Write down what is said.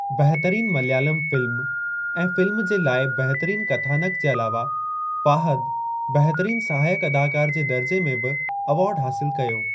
बहितरीन मलयालम फ़िल्म ऐ फ़िल्म जे लाइ बहितरीन कथानक जे अलावा, फ़ाहद बहितरीन सहायक अदाकारु जे दर्जे में बि अवार्ड हासिल कयो।